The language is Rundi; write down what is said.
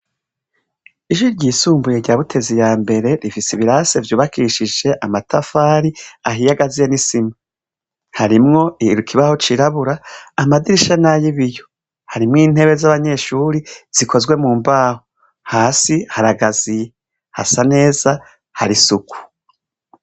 Ishure ryisumbuye rya Butezi ya mbere rifise ibirase vyubakishije amatafari ahiye agaziye n'isima. Harimwo Ikibaho cirabura, amadirisha nay'ibiyo. Harimwo intebe z'abanyeshuri zikozwe mu mbaho. Hasi haragaziye, hasa neza hari isuku.